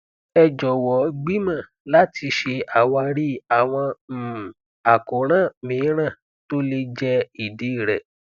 ẹ jọwọ gbìmọ láti ṣe àwárí àwọn um àkóràn míràn tó lè jẹ ìdí rẹ